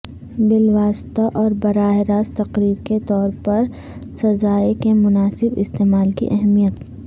بالواسطہ اور براہ راست تقریر کے طور پر سزائیں کے مناسب استعمال کی اہمیت